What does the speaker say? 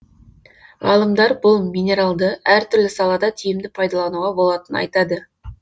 ғалымдар бұл минералды әртүрлі салада тиімді пайдалануға болатынын айтады